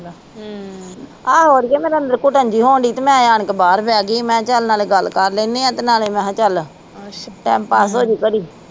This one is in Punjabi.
ਆਹੋ ਅੜੀਏ ਮੈਨੂੰ ਤਾ ਅੰਦਰ ਘੁਟਣ ਜੀ ਹੋਣਦੀਆ ਤੇ ਮੈ ਆਣ ਕੇ ਬਾਹਰ ਬਹਿ ਗਈ ਆ ਮੈ ਕਿਹਾ ਚਲ ਨਾਲੇ ਗੱਲ ਕਰ ਲੈਣੇ ਆ ਤੇ ਨਾਲੇ ਮੈ ਕਿਹਾ ਚੱਲ time pass ਹੋਜੂ ਘੜੀ